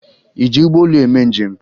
Ị ji ụgbọelu eme njem?